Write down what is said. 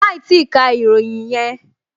Máì tíì ka ìròyìn yẹn!